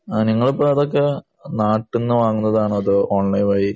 ആഹ് നിങ്ങളിപ്പോ അതൊക്കെ നാട്ട്ന്ന് വാങ്ങുന്നതാണോ അതോ ഓൺലൈൻ വഴി